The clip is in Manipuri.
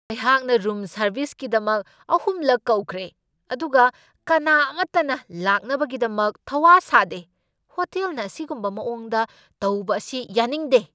ꯑꯩꯍꯥꯛꯅ ꯔꯨꯝ ꯁꯔꯕꯤꯁꯀꯤꯗꯃꯛ ꯑꯍꯨꯝꯂꯛ ꯀꯧꯈ꯭ꯔꯦ, ꯑꯗꯨꯒ ꯀꯅꯥ ꯑꯃꯇꯅ ꯂꯥꯛꯅꯕꯒꯤꯗꯃꯛ ꯊꯧ ꯋꯥ ꯁꯥꯗꯦ! ꯍꯣꯇꯦꯜꯅ ꯑꯁꯤꯒꯨꯝꯕ ꯃꯑꯣꯡꯗ ꯇꯧꯕ ꯑꯁꯤ ꯌꯥꯅꯤꯡꯗꯦ꯫